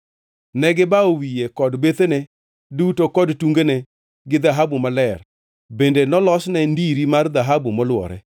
Ne gibawo wiye kod bethene duto kod tungene gi dhahabu maler bende nolosne ndiri mar dhahabu molwore.